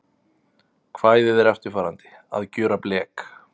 Kvæðið er eftirfarandi: Að gjöra blek